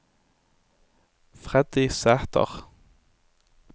Freddy Sæther